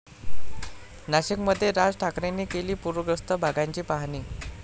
नाशिकमध्ये राज ठाकरेंनी केली पुरग्रस्त भागाची पाहणी